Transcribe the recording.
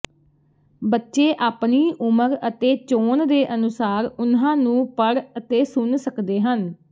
ਬੱਚੇ ਆਪਣੀ ਉਮਰ ਅਤੇ ਚੋਣ ਦੇ ਅਨੁਸਾਰ ਉਨ੍ਹਾਂ ਨੂੰ ਪੜ੍ਹ ਅਤੇ ਸੁਣ ਸਕਦੇ ਹਨ